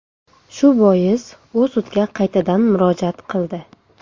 Shu bois u sudga qaytadan murojaat qildi.